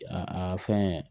A a fɛn